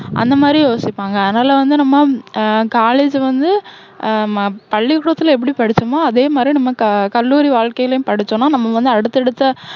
அந்த மாதிரி யோசிப்பாங்க. அதனால வந்து நம்ம அஹ் college வந்து ஹம் பள்ளிக்கூடத்துல எப்படி படிச்சோமோ, அதே மாதிரி நம்ம க~கல்லூரி வாழ்கைலயும் படிச்சோம்னா, நம்ம வந்து அடுத்தடுத்த